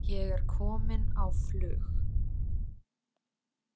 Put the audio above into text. Ég er komin á flug.